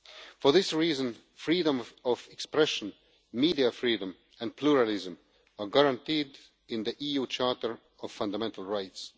For this reason freedom of expression, media freedom and pluralism are guaranteed in the EU Charter of Fundamental Rights.